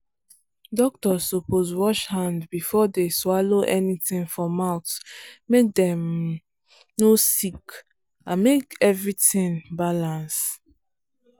doctors suppose wash hand before dey swallow anything for mouth make dem um no sick and make everything balance.